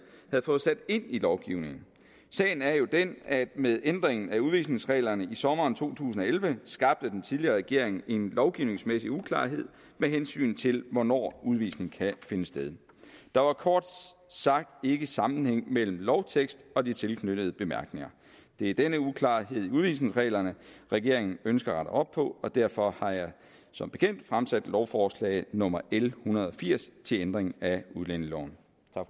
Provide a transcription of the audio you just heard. havde fået sat ind i lovgivningen sagen er jo den at med ændringen af udvisningsreglerne i sommeren to tusind og elleve skabte den tidligere regering en lovgivningsmæssig uklarhed med hensyn til hvornår udvisning kan finde sted der var kort sagt ikke sammenhæng mellem lovteksten og de tilknyttede bemærkninger det er denne uklarhed i udvisningsreglerne regeringen ønsker at rette op på og derfor har jeg som bekendt fremsat lovforslag nummer l en hundrede og firs til ændring af udlændingeloven